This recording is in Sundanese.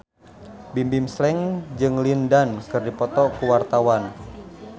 Bimbim Slank jeung Lin Dan keur dipoto ku wartawan